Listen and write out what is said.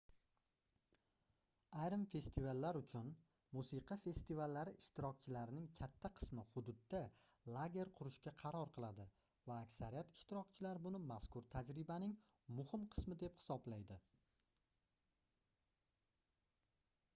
ayrim festivallar uchun musiqa festivallari ishtirokchilarining katta qismi hududda lager qurishga qaror qiladi va aksariyat ishtirokchilar buni mazkur tajribaning muhim qismi deb hisoblaydi